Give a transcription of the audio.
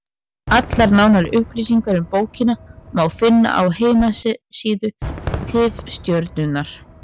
Allar nánari upplýsingar um bókina má finna á heimasíðu Tifstjörnunnar.